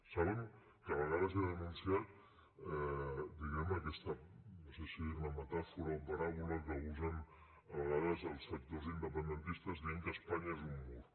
saben que a vegades he denunciat diguem ne aquesta no sé si dirne metàfora o paràbola que usen a vegades els sectors independentistes dient que espanya és un mur